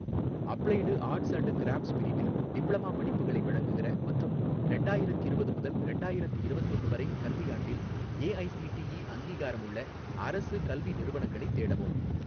Applied arts and crafts பிரிவில் diploma படிப்புகளை வழங்குகிற மற்றும் ரெண்டாயிரத்திரவது முதல் ரெண்டாயிரத்தி இரவத்தொன்னு வரை கல்வியாண்டில் ஏஐசிடிஇ அங்கீகாரமுள்ள அரசு கல்வி நிறுவனங்களைத் தேடவும்.